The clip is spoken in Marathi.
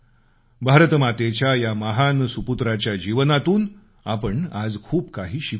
भारतमातेच्या या महान संतानाच्या जीवनातून आपण आज खूप काही शिकू शकतो